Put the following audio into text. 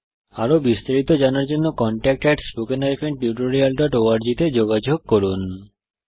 আরো বিস্তারিত জানার জন্য contact at spoken hyphen tutorial dot org তে যোগযোগ করুন